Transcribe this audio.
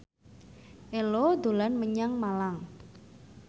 Ello dolan menyang Malang